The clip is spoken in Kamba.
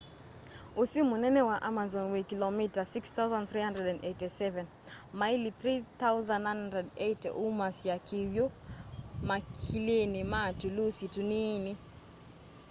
ũsi mũnene wa amazon wĩ kĩlomita 6,387 maĩli 3,980. umasya kĩw'ũ makilinĩ ma tũlũsi tũnini